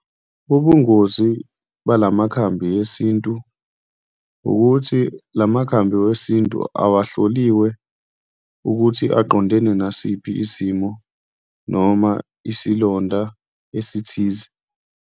Ubungozi balamakhambi esintu ukuthi la makhambi wesintu awahloliwe ukuthi aqondene nasiphi isimo noma isilonda esithize.